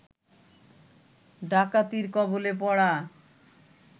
ডাকাতির কবলে পড়া